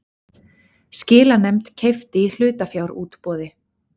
Skilanefnd keypti í hlutafjárútboði